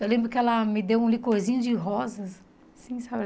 Eu lembro que ela me deu um licorzinho de rosas, assim, sabe?